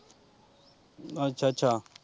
ਅੱਛਾ ਅੱਛਾ ਅੱਛਾ।